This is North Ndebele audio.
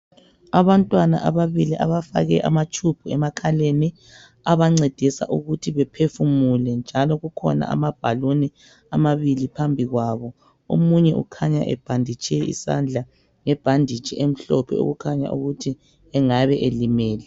Abantwana ababili abafake ama tube emakhaleni, abancedisa ukuthi bephefumule. Njalo kukhona amabhaluni amabili phambi kwabo. Omunye ukhanya ebhanditshe isandla ngebhanditshi emhlophe, okukhanya ukuthi engabe elimele.